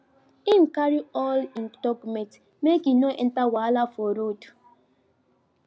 him carry all hin documents make him no enter wahala for road